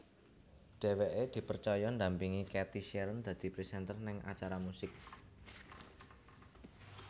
Dheweké dipercaya ndampingi Cathy Sharon dadi presenter ning acara musik